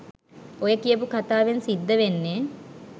ඔය කියපු කතාවෙන් සිද්ද වෙන්නේ